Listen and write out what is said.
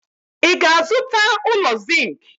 Ị ga-azụta ụlọ zinc?